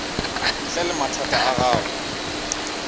ntle le mathata a gago